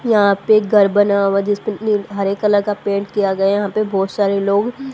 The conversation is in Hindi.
यहां पे घर बना हुआ जिसमें नी हरे कलर का पेंट किया गया यहां पे बहोत सारे लोग --